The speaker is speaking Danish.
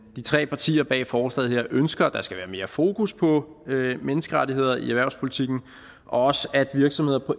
de tre partier bag forslaget her ønsker at der skal være mere fokus på menneskerettigheder i erhvervspolitikken og også at virksomheder på